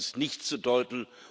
daran gibt es nichts zu deuten.